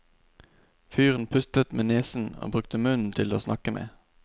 Fyren pustet med nesen og brukte munnen til åsnakke med.